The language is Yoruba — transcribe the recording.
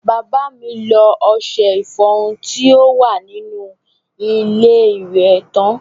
Bàbá mi lo ọṣẹ ìfọrun tí ó wà nínú ilé iwẹ̀ tán.